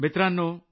मित्रांनो